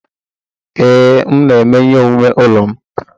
Ee, m na-eme ihe omume ụlọ m.